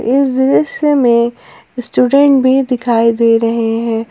इस दृश्य में स्टूडेंट भी दिखाई दे रहे है।